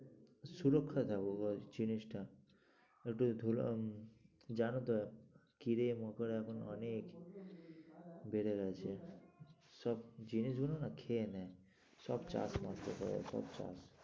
সুরক্ষা থাকবে ব্যাস জিনিসটা একটু ধুলাম জানো তো কিরে মকর এখন অনেক বেড়ে গেছে, সব জিনিসগুলো না খেয়ে নেয় সব চাষ নষ্ট করে সব চাষ।